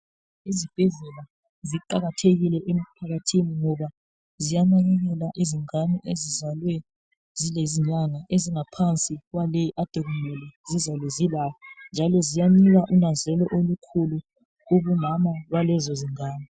Izibhedlela ziqakathekile emphakathini ngoba ziyanakekela izingane ezizalwe zilezinyanha ezingaphansi kwaleyi akade kumele ezizalwe zilayo njalo ziyanika unanzelelo olukhulu kubomama balezo ngane